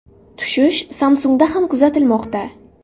Tushish Samsung‘da ham kuzatilmoqda.